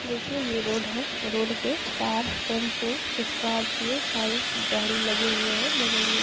देखिए ये रोड है और रोड पे कार टेंपू स्कॉर्पियो सारे गाड़ी लगे हुए है बगल में --